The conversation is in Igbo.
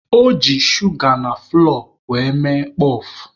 O ji shuga na fụlọọ were mee kpọf.